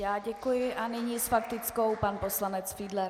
Já děkuji a nyní s faktickou pan poslanec Fiedler.